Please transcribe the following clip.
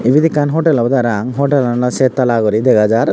ibet ekkan hotel obodey parahang hotelano settala guri dega jar.